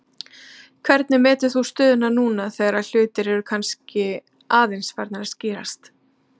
Hvernig metur þú stöðuna núna þegar svona hlutir eru kannski aðeins farnir að skýrast?